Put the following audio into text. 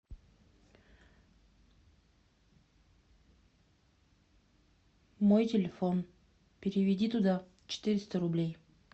мой телефон переведи туда четыреста рублей